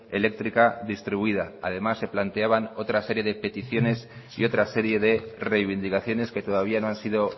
eléctrica distribuida además se planteaban otras series de peticiones y otra serie de reivindicaciones que todavía no han sido